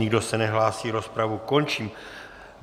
Nikdo se nehlásí, rozpravu končím.